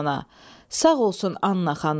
Sağ olsun Anna xanım.